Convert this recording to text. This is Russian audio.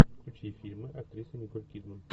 включи фильмы актрисы николь кидман